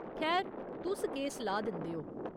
खैर, तुस केह् सलाह् दिंदे ओ ?